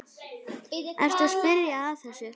Ertu að spyrja að þessu?